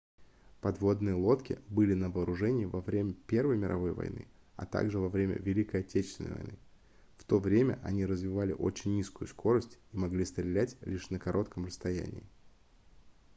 подводные лодки были на вооружении во время первой мировой войны а также во время великой отечественной войны в то время они развивали очень низкую скорость и могли стрелять лишь на коротком расстоянии